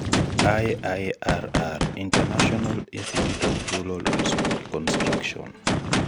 IIRR-International Instituteof Rural Reconstruction